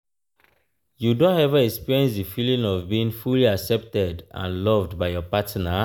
you don ever experience di feeling of being fully accepted and loved by your partner?